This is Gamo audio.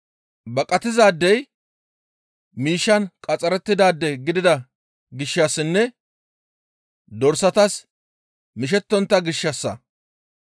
Baqatizaadey miishshan qaxxarettidaade gidida gishshassinne dorsatas mishettontta gishshassa.